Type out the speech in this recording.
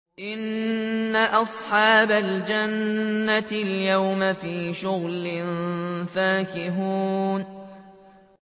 إِنَّ أَصْحَابَ الْجَنَّةِ الْيَوْمَ فِي شُغُلٍ فَاكِهُونَ